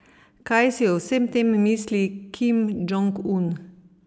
Kaj si o vsem tem misli Kim Džong Un?